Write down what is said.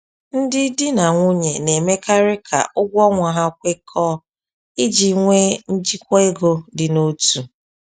Ndị di na nwunye na-emekarị ka ụgwọ ọnwa ha kwekọọ iji nwee njikwa ego dị n’otu.